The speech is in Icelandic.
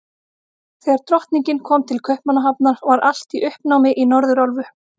Þegar Drottningin kom til Kaupmannahafnar, var allt í uppnámi í Norðurálfu.